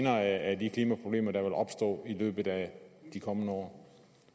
af de klimaproblemer der vil opstå i løbet af de kommende år